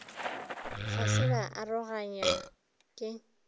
ga se ba aroganywa ke